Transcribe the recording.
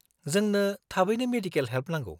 -जोंनो थाबैनो medical help नांगौ।